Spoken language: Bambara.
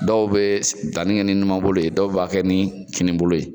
Dɔw bɛ danni kɛ ni numanbolo ye dɔw b'a kɛ ni kinibolo ye